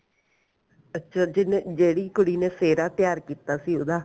ਅੱਛਾ ਜਿੰਨੇ ਜਿਹੜੀ ਕੁੜੀ ਨੇ ਸਿਹਰਾ ਤਿਆਰ ਕੀਤਾ ਸੀ ਉਹਦਾ